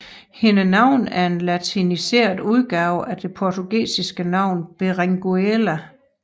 Hendes navn er en latiniseret udgave af det portugisiske navn Berenguela